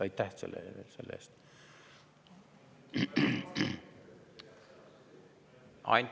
Aitäh selle eest!